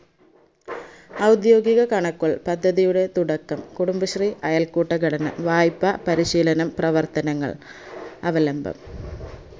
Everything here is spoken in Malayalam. ഔദ്യോകിക കണക്കുകൾ പദ്ധതിയുടെ തുടക്കം കുടുബശ്രീ അയൽക്കൂട്ടഘടന വായ്‌പ്പാ പരിശീലനം പ്രവർത്തനങ്ങൾ അവലംബം